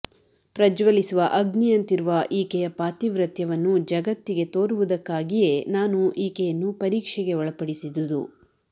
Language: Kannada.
ಪ್ರಜ್ವಲಿಸುವ ಅಗ್ನಿಯಂತಿರುವ ಈಕೆಯ ಪಾತಿವ್ರತ್ಯವನ್ನು ಜಗತ್ತಿಗೆ ತೋರುವುದಕ್ಕಾಗಿಯೆ ನಾನು ಈಕೆಯನ್ನು ಪರೀಕ್ಷೆಗೆ ಒಳಪಡಿಸಿದುದು